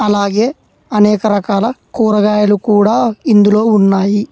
అలాగే అనేక రకాల కూరగాయలు కూడా ఇందులో ఉన్నాయి.